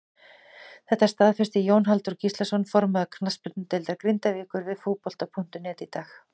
Þetta staðfesti Jón Halldór Gíslason formaður knattspyrnudeildar Grindavíkur við Fótbolta.net í dag.